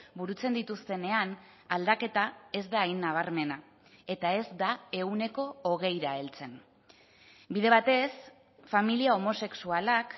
burutzen dituztenean aldaketa ez da hain nabarmena eta ez da ehuneko hogeira heltzen bide batez familia homosexualak